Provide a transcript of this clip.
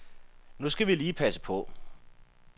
Nu skal vi lige passe på.